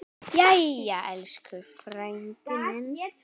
Jæja, elsku frændi minn.